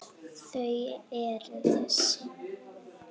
Þau eru þessi